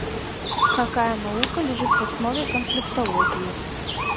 какая наука лежит в основе конфликтологии